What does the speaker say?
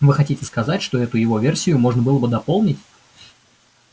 вы хотите сказать что эту его версию можно было бы дополнить